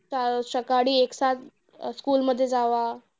स सकाळी अं school मध्ये जावा.